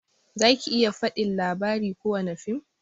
Zaki iya fadin labari kowani fim?